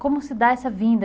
Como se dá essa vinda?